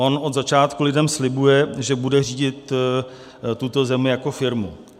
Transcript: On od začátku lidem slibuje, že bude řídit tuto zemi jako firmu.